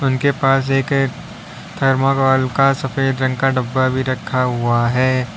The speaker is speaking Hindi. उनके पास एक थर्माकोल का सफेद रंग का डब्बा भी रखा हुआ है।